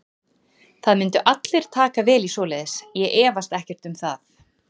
Það myndu allir taka vel í svoleiðis, ég efast ekkert um það.